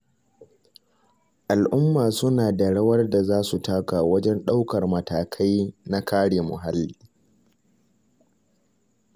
Al'umma suna da rawar da za su taka wajen ɗaukar matakai na kare muhalli.